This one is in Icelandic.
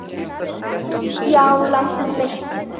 Já, lambið mitt.